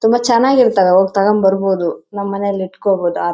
ತುಂಬ ಚೆನ್ನಾಗಿ ಇರುತ್ತೆ ಹೋಗ್ ತಕ್ಕೊಂಡ್ ಬರ್ಬಹುದು ನಮ್ಮನೆಲ್ ಇಟ್ಕೋಬಹುದು.